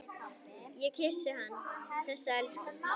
Ég kyssti hann, þessa elsku.